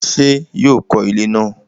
ṣé yóò kọ ilẹ́ náà?